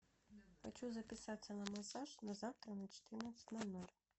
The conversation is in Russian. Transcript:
хочу записаться на массаж на завтра на четырнадцать ноль ноль